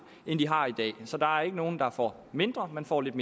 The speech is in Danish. så der er ikke nogen der får mindre man får lidt